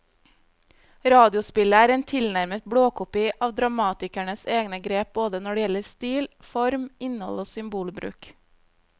Radiospillet er en tilnærmet blåkopi av dramatikerens egne grep både når det gjelder stil, form, innhold og symbolbruk.